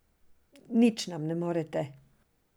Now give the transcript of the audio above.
Nič nam ne morete!